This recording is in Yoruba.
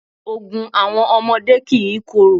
Ògùn àwọn ọmọdé kìí korò.